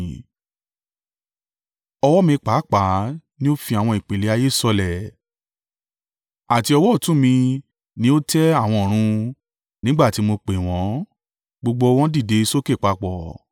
Ọwọ́ mi pàápàá ni ó fi àwọn ìpìlẹ̀ ayé sọlẹ̀, àti ọwọ́ ọ̀tún mi ni ó tẹ àwọn ọ̀run; nígbà tí mo pè wọ́n, gbogbo wọn dìde sókè papọ̀.